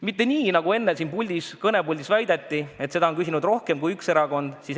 Ei ole nii, nagu enne siin kõnepuldis väideti, et seda on küsinud rohkem kui üks erakond.